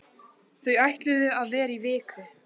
Þau ætluðu að vera í viku.